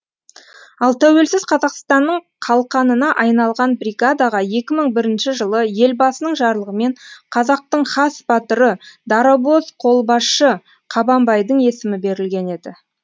ал тәуелсіз қазақстанның қалқанына айналған бригадаға екі мың бірінші жылы елбасының жарлығымен қазақтың хас батыры дарабоз қолбасшы қабанбайдың есімі берілген еді